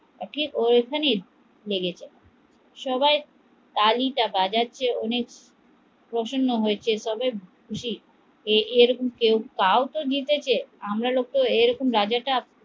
সবাই তালিটা বাজাচ্ছে অনেক প্রসন্ন হয়েছে, খুশি কেউতো জিতেছে এরকম রাজাটা